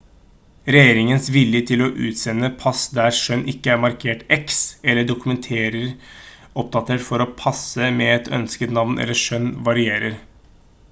regjeringens vilje til å utstede pass der kjønn ikke er markert x eller dokumenter oppdatert for å passe med et ønsket navn eller kjønn varierer